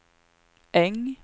Äng